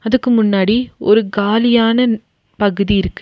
அதுக்கு முன்னாடி ஒரு காலி ஆனா பகுதி இருக்கு.